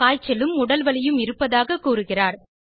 காய்ச்சலும் உடல்வலியும் இருப்பதாக கூறுகிறார்